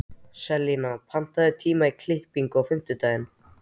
Selina, pantaðu tíma í klippingu á fimmtudaginn.